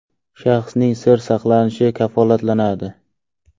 Shaxsning sir saqlanishi kafolatlanadi”.